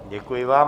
Děkuji vám.